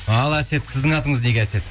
ал әсет сіздің атыңыз неге әсет